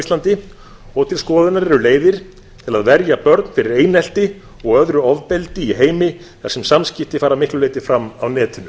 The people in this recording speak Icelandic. íslandi og til skoðunar eru leiðir til að verja börn fyrir einelti og öðru ofbeldi í heimi þar sem samskipti fara að miklu leyti fram á netinu